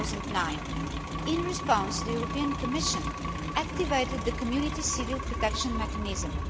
2009. In response the European Commission activated the Community Civil Protection Mechanism.